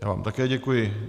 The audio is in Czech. Já vám také děkuji.